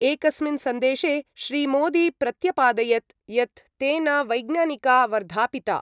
एकस्मिन् सन्देशे श्रीमोदी प्रत्यपादयत् यत् तेन वैज्ञानिका वर्धापिता।